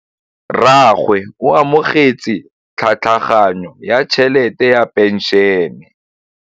Rragwe o amogetse tlhatlhaganyô ya tšhelête ya phenšene.